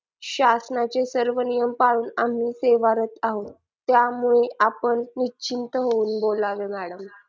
शासनाचे सर्व नियम पाळून आम्ही सेवारत आहोत त्यामुळे आपण निश्चिंत होऊन बोलावे madam